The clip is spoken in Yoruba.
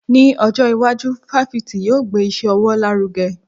Ní ọjọ́ iwájú, fáfitì yóò gbé iṣẹ́ ọwọ́ lárugẹ.